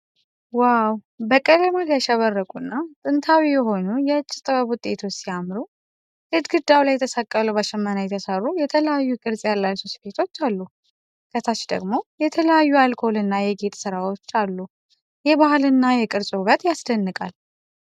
ዋው! በቀለማት ያሸበረቁና ጥንታዊ የሆኑ የእጅ ጥበብ ውጤቶች ሲያምሩ! ግድግዳ ላይ የተሰቀሉ በሽመና የተሰሩ የተለያዩ ቅርጽ ያላቸው ስፌቶች አሉ። ከታች ደግሞ የተለያዩ የአልኮልና የጌጥ ሥራዎች አሉ። የባህልና የቅርስ ውበት ያስደንቃል።